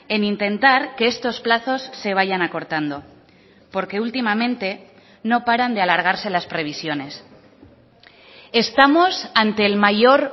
en intentar que estos plazos se vayan acortando porque últimamente no paran de alargarse las previsiones estamos ante el mayor